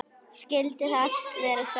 Skyldi það allt vera satt?